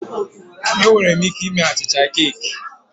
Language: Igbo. Ee, enwere m ike ime achịcha keeki